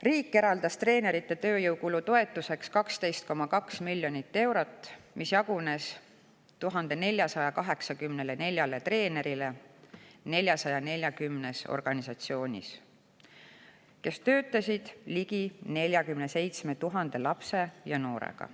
Riik eraldas treenerite tööjõukulu toetuseks 12,2 miljonit eurot, mis jagunes 440 organisatsioonis 1484 treeneri vahel, kes töötasid ligi 47 000 lapse ja noorega.